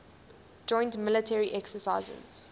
joint military exercises